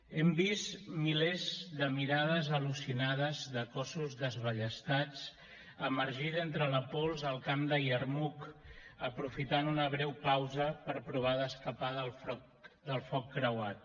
hem vist milers de mirades al·lucinades de cossos desballestats emergir d’entre pols al camp de yarmouk aprofitant una breu pausa per provar d’escapar del foc creuat